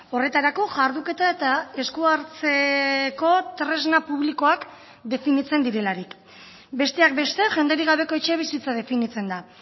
horretarako jarduketa eta esku hartzeko tresna publikoak definitzen direlarik besteak beste jenderik gabeko etxebizitza definitzen da